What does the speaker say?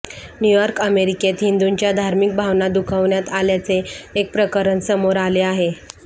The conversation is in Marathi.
न्यूयॉर्क अमेरिकेत हिंदुंच्या धार्मिक भावना दुखावण्यात आल्याचे एक प्रकरण समोर आले आहे